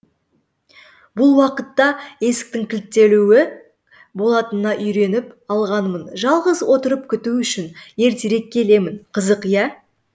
бұл уақытта есіктің кілттеулі болатынына үйреніп алғанмын жалғыз отырып күту үшін ертерек келемін қызық иә